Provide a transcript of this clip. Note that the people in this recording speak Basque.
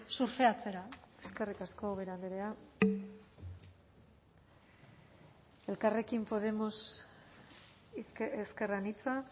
surfeatzera eskerrik asko ubera andrea elkarrekin podemos ezker anitza